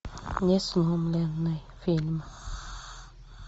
несломленный фильм